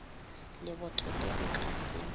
leboto le go ka se